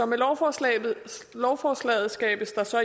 med lovforslaget lovforslaget skabes der så